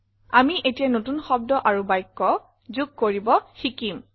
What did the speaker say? আমি এতিয়া নতুন শব্দ আৰু বাক্য যোগ কৰিব শিকিম